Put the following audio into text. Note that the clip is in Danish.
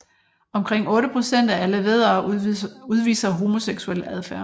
Omkring 8 procent af alle væddere udviser homoseksuel adfærd